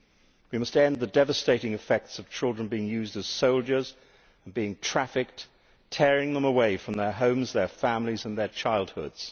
We must end the devastating effects of children being used as soldiers, being trafficked and being torn away from their homes, their families and their childhoods.